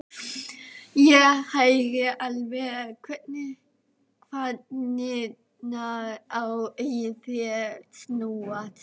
Ég heyri alveg hvernig kvarnirnar í þér snúast.